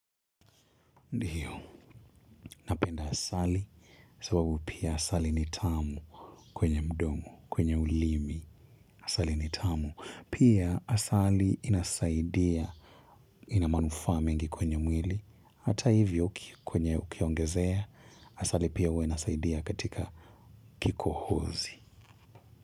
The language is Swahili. Ndio, napenda asali, sababu pia asali ni tamu kwenye mdomo, kwenye ulimi, asali ni tamu, pia asali inasaidia, inamanufaa mengi kwenye mwili, hata hivyo kwenye ukiongezea, asali pia huwa inasaidia katika kiko hozi.